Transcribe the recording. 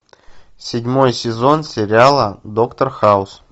седьмой сезон сериала доктор хаус